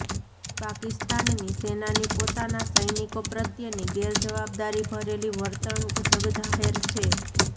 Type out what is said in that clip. પાકિસ્તાની સેનાની પોતાના સૈનિકો પ્રત્યેની ગેરજવાબદારી ભરેલી વર્તણૂંક જગજાહેર છે